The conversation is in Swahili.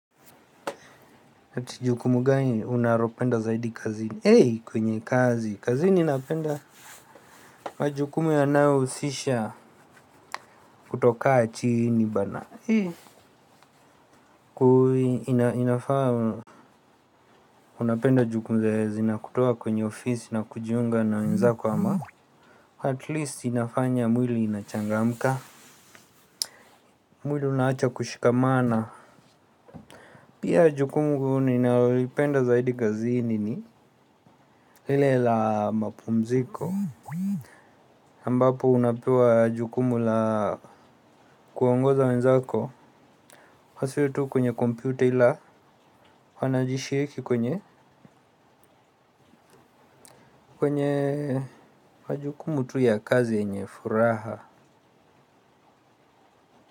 Ati jukumu gani unaropenda zaidi kazini, hey kwenye kazi, kazini ninapenda. Kwa jukumu yanayohusisha kutokaa chini bana. Kuu inafaa unapenda jukumu zenye zinakutoa kwenye ofisi, na kujiunga na wenzako ama At least inafanya mwili inachangamka. Mwili unaacha kushikamana. Pia jukumu ninalopenda zaidi kazini ni lile la mapumziko ambapo unapewa jukumu la kuongoza wenzako. Kwa sio tu kwenye kompyuta ila wanajishiki kwenye kwenye kwa jukumu tu ya kazi yenye furaha.